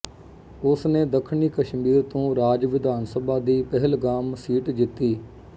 ਉਸ ਨੇ ਦੱਖਣੀ ਕਸ਼ਮੀਰ ਤੋਂ ਰਾਜ ਵਿਧਾਨ ਸਭਾ ਦੀ ਪਹਿਲਗਾਮ ਸੀਟ ਜਿੱਤੀ